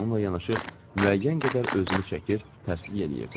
Bununla yanaşı müəyyən qədər özümü çəkir, tərsliy eləyirdim.